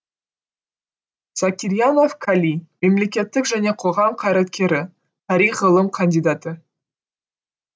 закирьянов кали мемлекеттік және қоғам қайраткері тарих ғылым кандидаты